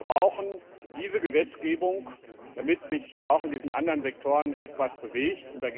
Denn wir brauchen diese Gesetzgebung, damit sich auch in diesen anderen Sektoren etwas bewegt.